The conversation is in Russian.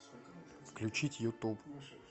включить ютуб